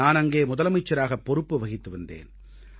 நான் அங்கே முதலமைச்சராகப் பொறுப்பு வகித்து வந்தேன்